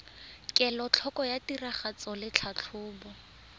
kelotlhoko ya tiragatso le tlhatlhobo